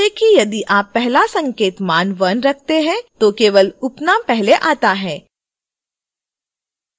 ध्यान दें कि: यदि आप पहला संकेतक मान 1 रखते हैं तो केवल उपनाम पहले आता है